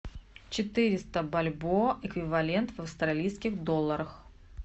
четыреста бальбоа эквивалент в австралийских долларах